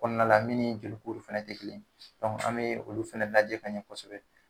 Kɔnɔna min ni joli kuru fɛnɛ te kelen ye. an be olu fɛnɛ lajɛ ka ɲɛ kosɛbɛ.